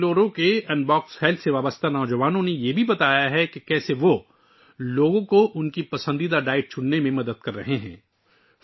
بنگلورو کے Unbox Health سے جڑے نوجوانوں نے بھی اس بات کا اظہار کیا ہے کہ وہ کس طرح لوگوں کو اپنی پسند کی خوراک کا انتخاب کرنے میں مدد کر رہے ہیں